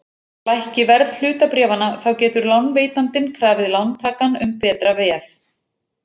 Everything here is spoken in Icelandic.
Lækki verð hlutabréfanna þá getur lánveitandinn krafið lántakann um betra veð.